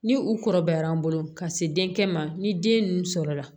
Ni u kɔrɔbayara an bolo ka se denkɛ ma ni den ninnu sɔrɔla